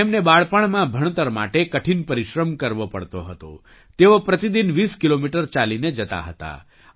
તેમને બાળપણમાં ભણતર માટે કઠિન પરિશ્રમ કરવો પડતો હતો તેઓ પ્રતિ દિન 2૦ કિલોમીટર ચાલીને જતા હતા